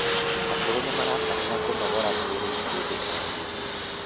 akũrũ nimarabatara kũnogora mwĩrĩ hĩndĩ o hĩndĩ